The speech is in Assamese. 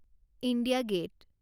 India gate